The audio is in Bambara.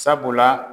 Sabula